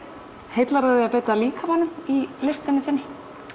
heillar þig að beita líkamanum í listinni þinni